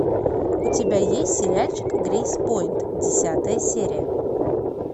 у тебя есть сериальчик грейс поинт десятая серия